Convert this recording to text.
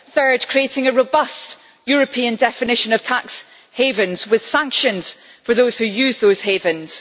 third, creating a robust European definition of tax havens with sanctions for those who use those havens